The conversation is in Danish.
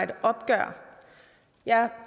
det opgør er